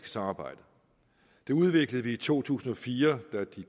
samarbejde det udviklede vi i to tusind og fire da de